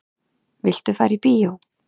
Viltu fara í bíó?